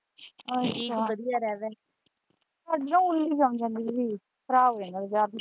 ਉੱਲੀ ਜੰਮ ਜਾਂਦੀ ਦੀਦੀ ਖਰਾਬ ਹੋ ਜਾਂਦਾ ਅਚਾਰ।